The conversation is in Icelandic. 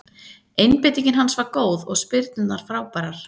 Einbeitingin hans var góð og spyrnurnar frábærar.